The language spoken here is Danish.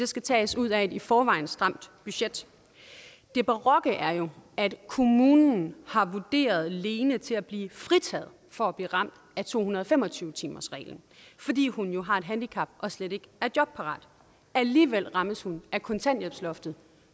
skal tages ud af et i forvejen stramt budget det barokke er jo at kommunen har vurderet lene til at blive fritaget for at blive ramt af to hundrede og fem og tyve timersreglen fordi hun har et handicap og slet ikke er jobparat alligevel rammes hun af kontanthjælpsloftet